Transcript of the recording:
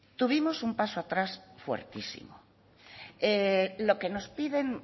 tuvimos un paso atrás fuertísimo lo que nos piden